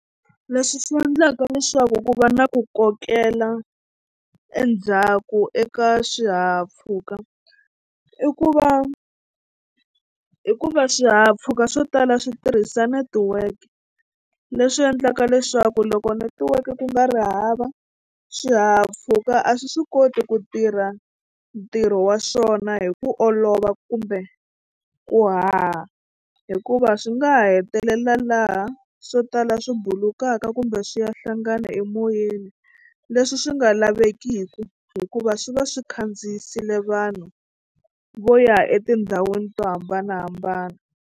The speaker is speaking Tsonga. Leswi swi endlaka leswaku ku va na ku kokela endzhaku eka swihahampfhuka i ku va hikuva swihahampfhuka swo tala swi tirhisa netiweke leswi endlaka leswaku loko netiweke ku nga ri hava swihahampfhuka a swi swi koti ku tirha ntirho wa swona hi ku olova kumbe ku haha hikuva swi nga ha hetelela laha swo tala swi bulukaka kumbe swi ya hlangana emoyeni leswi swi nga lavekiki hikuva swi va swi khandziyisile vanhu vo ya etindhawini to hambanahambana.